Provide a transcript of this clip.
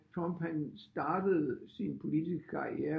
Trump han startede sin politiske karriere